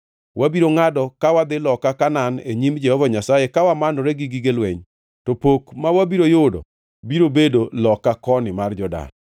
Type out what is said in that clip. Wabiro ngʼado ka wadhi loka Kanaan e nyim Jehova Nyasaye ka wamanore gi gige lweny, to pok ma wabiro yudo biro bedo loka koni mar Jordan.”